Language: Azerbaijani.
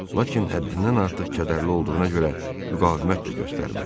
Lakin həddindən artıq kədərli olduğuna görə müqavimət də göstərmədi.